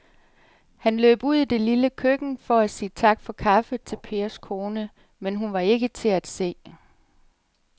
Han løb ud i det lille køkken for at sige tak for kaffe til Pers kone, men hun var ikke til at se.